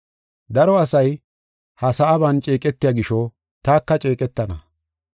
Daro asay ha sa7aban ceeqetiya gisho, taka ceeqetana.